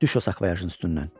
Düş o sakvoyajın üstündən.